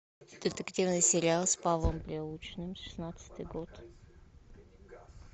детективный сериал с павлом прилучным шестнадцатый год